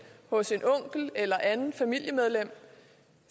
hos en onkel eller et andet familiemedlem